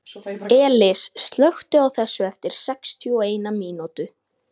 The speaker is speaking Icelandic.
Elis, slökktu á þessu eftir sextíu og eina mínútur.